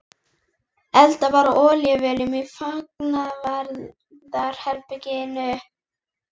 Eldað var á olíuvélum í fangavarðar- herberginu.